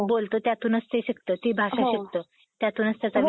बोलतो त्यातूनच ते शिकतं. ती भाषा शिकतं. त्यातूनच त्याचा